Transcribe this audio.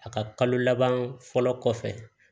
A ka kalo laban fɔlɔ kɔfɛ